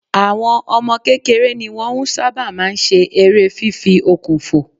Àwọn ọmọ kékeré ni wọ́n ń sábà ma ń ṣe eré fífi okùn fò